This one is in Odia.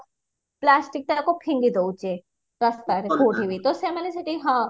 plasticକୁ ଫିଙ୍ଗି ଦଉଛେ ରାସ୍ତାରେ କଉଠିବି ତ ସେମାନେ ସେଠି ହଁ